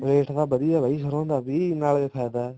rate ਤਾਂ ਵਧੀਆ ਵੀ ਸਰੋਂ ਦਾ ਨਾਲੇ ਫਾਇਦਾ